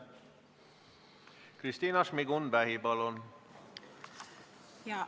Kristina Šmigun-Vähi, palun!